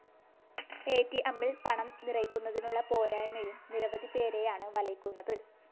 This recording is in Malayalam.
എറ്റിഎമ്മില്‍ പണം നിറയ്ക്കുന്നതിനുള്ള പോരായ്മയും നിരവധി പേരെയാണ് വലയ്ക്കുന്നത്